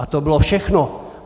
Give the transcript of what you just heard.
A to bylo všechno.